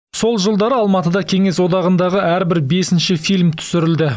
сол жылдары алматыда кеңес одағындағы әрбір бесінші фильм түсірілді